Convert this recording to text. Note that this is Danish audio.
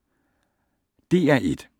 DR1